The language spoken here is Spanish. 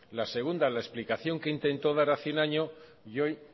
la segunda la explicación que intento dar hace un año y hoy